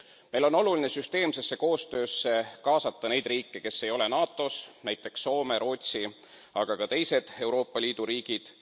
Meil on oluline süsteemsesse koostöösse kaasata neid riike, kes ei ole NATOs, nt Soome, Rootsi, aga ka teised Euroopa Liidu riigid.